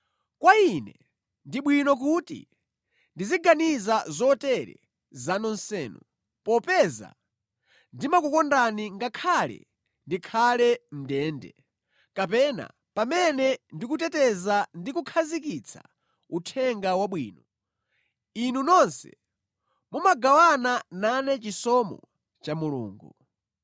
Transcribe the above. Kwa ine ndi bwino kuti ndiziganiza zotere za nonsenu, popeza ndimakukondani, ngakhale ndikhale mʼndende, kapena pamene ndikuteteza ndi kukhazikitsa Uthenga Wabwino, inu nonse mumagawana nane chisomo cha Mulungu.